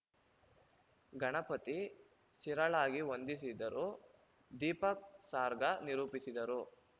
ಗಣಪತಿ ಶಿರಳಗಿ ವಂದಿಸಿದರು ದೀಪಕ್‌ ಸಾರ್ಗ ನಿರೂಪಿಸಿದರು